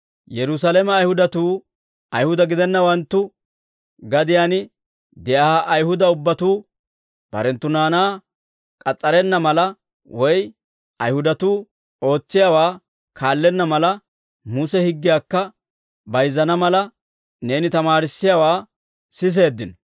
Yerusaalame Ayihudatuu, Ayihuda gidennawanttu gadiyaan de'iyaa Ayihuda ubbatuu barenttu naanaa k'as's'arenna mala, woy Ayihudatuu ootsiyaawaa kaallenna mala, Muse higgiyaakka bayizzana mala neeni tamaarissiyaawaa siseeddino.